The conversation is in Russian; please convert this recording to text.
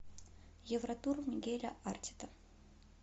евротур мигеля артета